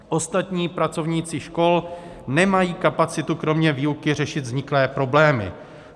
Ostatní pracovníci škol nemají kapacitu kromě výuky řešit vzniklé problémy.